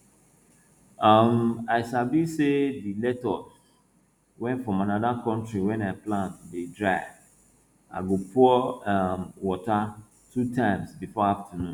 um i sabi say di lettuce wey from anoda country wey i plant dey dry i go pour um water two times before afternoon